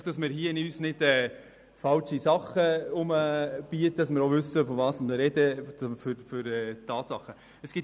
Ich möchte nicht, dass wir hier falsche Dinge herumbieten, sondern auch wissen, wovon wir sprechen und welche Tatsachen es sind.